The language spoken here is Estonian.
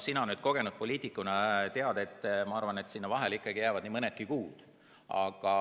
Sina kogenud poliitikuna tead, ma arvan, et sinna vahele jääb nii mõnigi kuu.